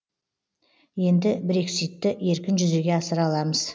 енді брекситті еркін жүзеге асыра аламыз